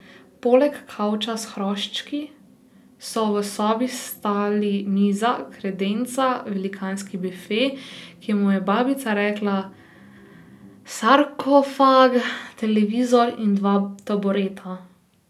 Poleg kavča s hroščki so v sobi stali miza, kredenca, velikanski bife, ki mu je babica rekla sarkofag, televizor in dva tabureta.